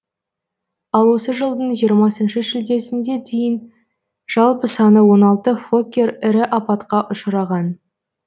ал осы жылдың жиырмасыншы шілдесіне дейін жалпы саны он алты фоккер ірі апатқа ұшыраған